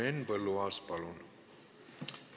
Henn Põlluaas, palun!